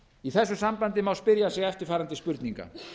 í þessu sambandi má spyrja sig eftirfarandi spurninga